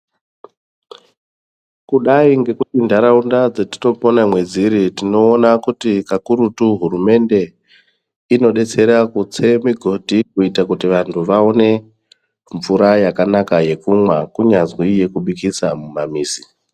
Kudai ngekuti ndaraunda dzatinopona mwedziri tinoona kuti kakurutu hurumende inodetsera migodhi kuti vantu vawonemvura yakanaka yekunwa kunyazwi yekubikisa kumamizi.